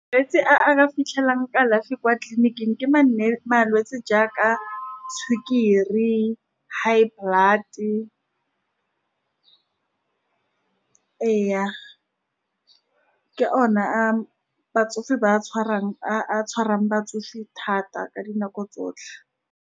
Malwetse a re a fitlhelang kalafi kwa tleliniking, ke malwetse jaaka sukiri, high blood. Ee, ke ona a batsofe ba a tshwarang, a a tshwarang batsofe thata ka dinako tsotlhe.